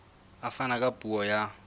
a fana ka puo ya